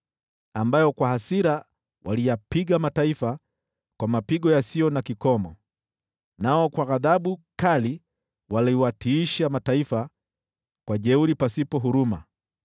ambayo kwa hasira waliyapiga mataifa kwa mapigo yasiyo na kikomo, nao kwa ghadhabu kali waliwatiisha mataifa kwa jeuri pasipo huruma.